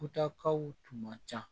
Kutakaw tun man ca